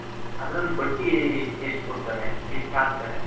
ಅದರಲ್ಲಿ ಬಡ್ಡಿ ಎಷ್ಟ್ ಕೊಡ್ತಾರೆ ಎಷ್ಟ್ ಹಾಕ್ತಾರೆ.